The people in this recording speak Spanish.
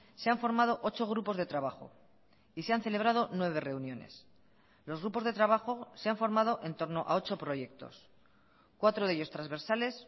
se han formado ocho grupos de trabajo y se han celebrado nueve reuniones los grupos de trabajo se han formado entorno a ocho proyectos cuatro de ellos transversales